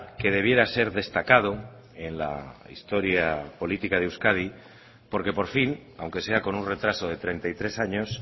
que debiera ser destacado en la historia política de euskadi porque por fin aunque sea con un retraso de treinta y tres años